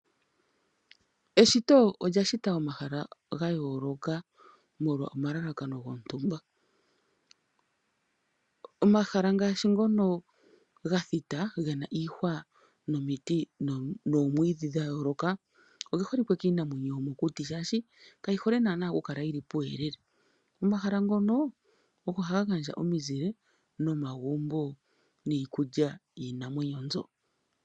Eshito olya shita omahala ga yooloka molwa omalalakano gontumba. Omahala ngaashi ngono ga thita ge na iihwa nomiti noomwiidhi dha yooloka, oge holikwe kiinamwenyo yomokuti shaashi kayi hole naana ku kala yi li puuyelele, omahala ngono ogo haga gandja omizile nomagumbo niikulya yiinamwenyo mbyo.